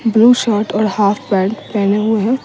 Blue shirt और half pant पहने हुए हैं।